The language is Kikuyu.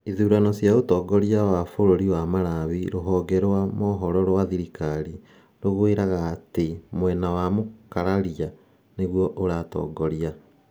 Ithurano cia ũtongoria wa bũrũri wa Malawi: Rũhonge rwa mohoro rwa thirikari rũgwĩraga atĩ mwena wa mũkararia nĩ guo ũratongoria